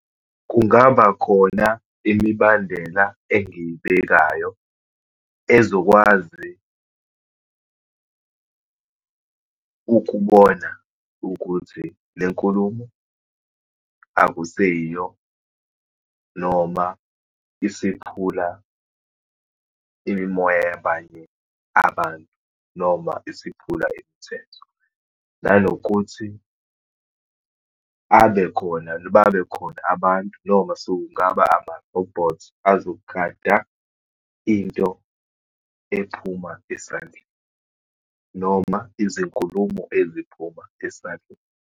Kungaba khona imibandela engiyibekayo ezokwazi ukubona ukuthi le nkulumo akuseyiyo, noma isiphula imimoya yabanye abantu, noma isiphula imithetho. Nanokuthi abekhona , babekhona abantu, noma sekungaba amarobhothi azogada into ephuma esandleni, noma izinkulumo eziphuma esandleni.